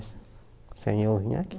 Se sem eu vir aqui.